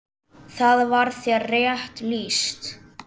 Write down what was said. Þar var þér rétt lýst!